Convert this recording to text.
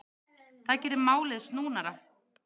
Það geri málið snúnara.